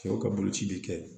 Cɛw ka boloci bɛ kɛ